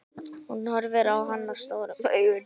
Hún horfir á hana stórum augum.